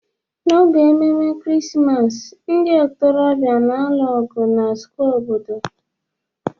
n'oge ememe Krismas, ndị ntorobịa na-alụ ọgụ na square obodo